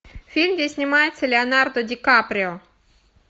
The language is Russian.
фильм где снимается леонардо ди каприо